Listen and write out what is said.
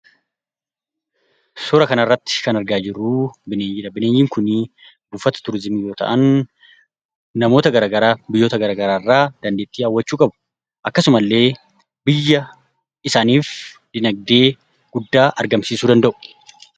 Suura kanarratti kan argaa jirru bineeyyiidha. Bineeyyiin kuni buufata tuurizimii yoo ta'an, namoota gara garaaf biyyoota gara garaarraa dandeettii hawwachuu qabu. Akkasumallee, biyya isaaniif dinagdee guddaa argamsiisuu danda'u.